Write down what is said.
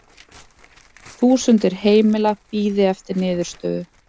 Þúsundir heimila bíði eftir niðurstöðu